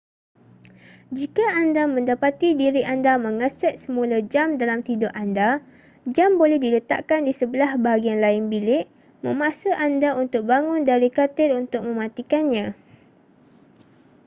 jika anda mendapati diri anda mengeset semula jam dalam tidur anda jam boleh diletakkan di sebelah bahagian lain bilik memaksa anda untuk bangun dari katil untuk mematikannya